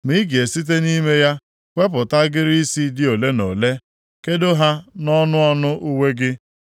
Ma ị ga-esite nʼime ya wepụta agịrị isi dị ole na ole, kedo ha nʼọnụ ọnụ uwe gị.